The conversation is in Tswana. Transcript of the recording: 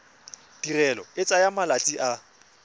tirelo e tsaya malatsi a